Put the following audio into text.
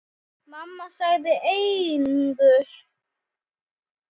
Mamma svaraði engu.